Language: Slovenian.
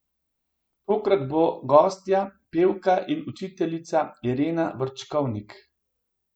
Tokrat bo gostja pevka in učiteljica Irena Vrčkovnik.